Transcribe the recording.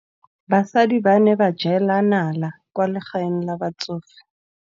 Basadi ba ne ba jela nala kwaa legaeng la batsofe.